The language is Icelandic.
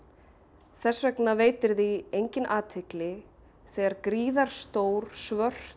þess vegna veitir því enginn athygli þegar gríðarstór svört